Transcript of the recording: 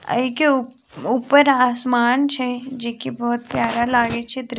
ए के उ ऊपर आसमान छै जे की बहुत प्यारा लागे छै दृश्य।